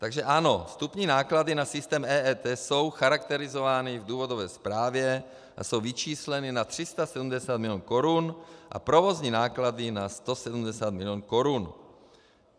Takže ano, vstupní náklady na systém EET jsou charakterizovány v důvodové zprávě a jsou vyčísleny na 370 milionů korun a provozní náklady na 170 milionů korun.